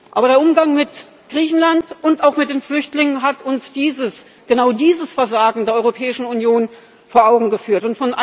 Aber der Umgang mit Griechenland und auch mit den Flüchtlingen hat uns dieses, genau dieses Versagen der Europäischen Union vor Augen geführt.